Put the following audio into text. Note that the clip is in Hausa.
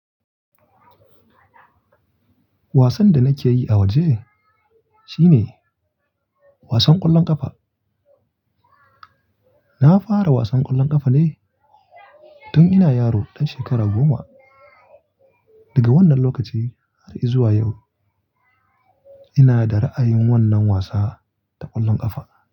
Wasan da nake yi a waje shine wasan ƙwallon ƙafa. Na fara wasan ƙwallon ƙafa ne tun ina yaro ɗan shekara goma. Daga wannan lokacin har izuwa yau ina da ra'ayin wannan wasa ta ƙwallon ƙafa.